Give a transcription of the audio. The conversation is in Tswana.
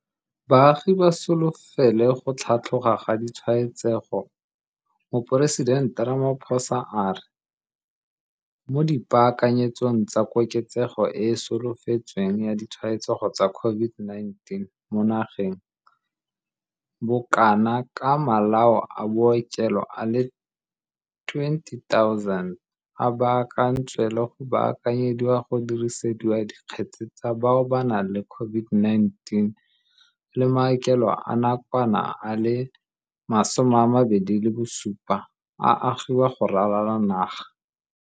Baagi ba solofele go tlhatloga ga ditshwaetsego Moporesitente Ramaphosa a re, mo dipaakanyetsong tsa koketsego e e solofetsweng ya ditshwaetsego tsa COVID-19 mo nageng, bokana ka malao a bookelo a le 20 000 a baakantswe le go baakanyediwa go dirisetswa dikgetse tsa bao ba nang le COVID-19, le maokelo a nakwana a le 27 a agiwa go ralala naga.